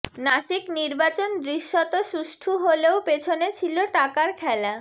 নাসিক নির্বাচন দৃশ্যত সুষ্ঠু হলেও পেছনে ছিল টাকার খেলা